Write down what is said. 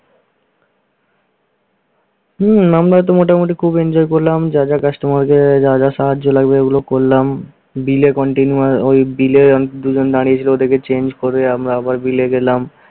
হম আমরাতো মোটামুটি খুব enjoy করলাম। যার যার customer দের যা যা সাহায্য লাগবে, ওগুলো করলাম। bill এ continue ঐ bill এ দুইজন নারীসহ ওটাকে change করে আমরা আবার bill এ গেলাম।